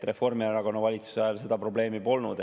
Reformierakonna valitsuse ajal seda probleemi polnud.